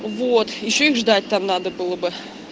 вот ещё и ждать там надо было бы